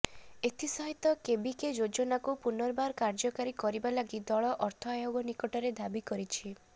ଏଥିସହିତ କେବିକେ ଯୋଜନାକୁ ପୁନର୍ବାର କାର୍ଯ୍ୟକାରୀ କରିବା ଲାଗି ଦଳ ଅର୍ଥ ଆୟୋଗ ନିକଟରେ ଦାବି କରିଛି